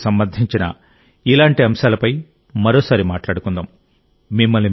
దేశప్రజలకు సంబంధించిన ఇలాంటి అంశాలపై మరోసారి మాట్లాడుకుందాం